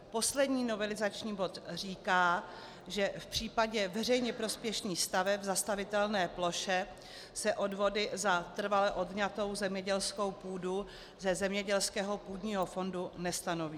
Poslední novelizační bod říká, že v případě veřejně prospěšných staveb v zastavitelné ploše se odvody za trvale odňatou zemědělskou půdu ze zemědělského půdního fondu nestanoví.